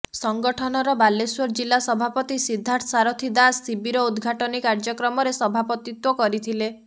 ସଂଗଠନର ବାଲେଶ୍ୱର ଜିଲ୍ଲା ସଭାପତି ସିଦ୍ଧାର୍ଥ ସାରଥୀ ଦାସ ଶିବିର ଉଦଘାଟନୀ କାର୍ଯ୍ୟକ୍ରମରେ ସଭାପତିତ୍ୱ କରିଥିଲେ